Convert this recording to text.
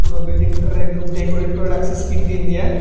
তো বিল্ডিংটারে একদম ডেকোরেট করে রাখছে স্কিন টিন দিয়া।